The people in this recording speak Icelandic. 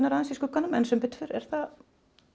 aðeins í skugganum en sem betur fer er þetta